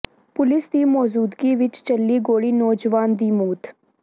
police ਦੀ ਮੌਜੂਦਗੀ ਵਿਚ ਚੱਲੀ ਗੋਲੀ ਨੌਜਵਾਨ ਦੀ ਮੌਤ